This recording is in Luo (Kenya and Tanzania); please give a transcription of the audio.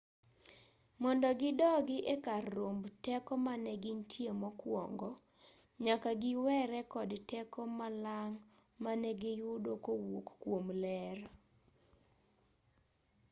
mondo gidogi e kar romb teko mane gintie mokwongo nyaka giwere kod teko malang' ma negiyudo kowuok kwom ler